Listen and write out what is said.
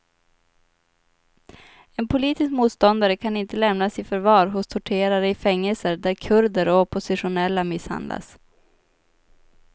En politisk motståndare kan inte lämnas i förvar hos torterare i fängelser där kurder och oppositionella misshandlas.